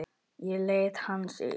Ég leita hans líka.